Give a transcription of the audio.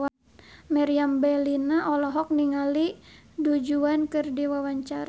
Meriam Bellina olohok ningali Du Juan keur diwawancara